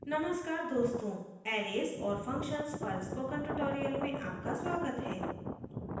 नमस्कार दोस्तों arrays और functions पर spoken tutorial में आपका स्वागत है